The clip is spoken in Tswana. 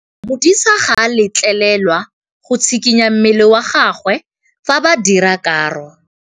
Modise ga a letlelelwa go tshikinya mmele wa gagwe fa ba dira karô.